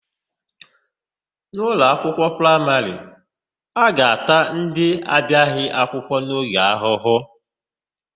N'ụlọakwụkwọ praịmarị, a ga-ata ndị na-abiaghị akwụkwọ n'oge ahụhụ.